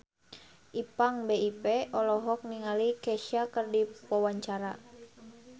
Ipank BIP olohok ningali Kesha keur diwawancara